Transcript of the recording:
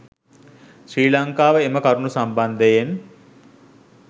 ශ්‍රී ලංකාව එම කරුණු සම්බන්ධයෙන්